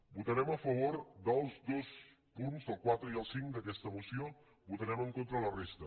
votarem a favor dels dos punts del quatre i el cinc d’aquesta moció votarem en contra la resta